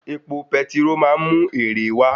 Òwò petiró máa ń mú èrè wá